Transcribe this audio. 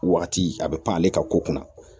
Waati a bɛ pan ale ka ko kunna